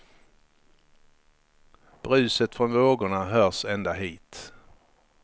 Bruset från vågorna hörs ända hit.